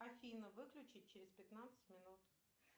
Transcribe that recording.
афина выключи через пятнадцать минут